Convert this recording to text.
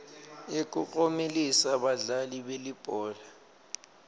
yekuklomelisa badlali belibhola